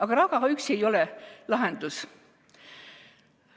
Aga raha üksi ei ole lahendus.